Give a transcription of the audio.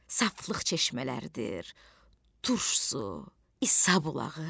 Saflıq çeşmələrdir, turşsu, İsa bulağı.